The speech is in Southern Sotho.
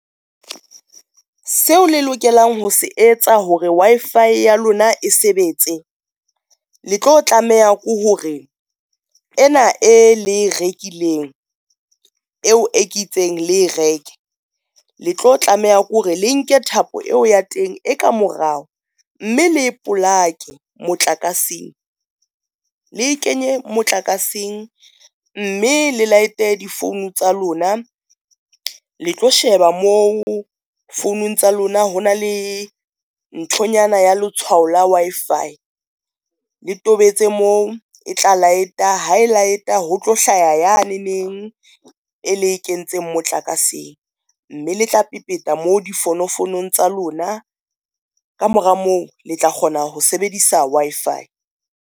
So le lokelang ho se etsa hore Wi-FI ya lona e sebetse, le tlo tlameha ke hore ena e le rekileng eo ke itseng, le e reke le tlo tlameha ke hore le nke thapo eo ya teng e ka morao, mme le e polake motlakaseng. Le kenye motlakaseng mme le light-e di-phone tsa lona, le tlo sheba mo founong tsa lona hona le nthonyana ya letshwao la Wi-FI le tobetse moo, e tla light-a ha e light-a ho tlo hlaya yane neng e le e kentseng motlakaseng, mme le tla pepeta moo di founofounong tsa lona. Kamora moo le tla kgona ho sebedisa Wi-Fi.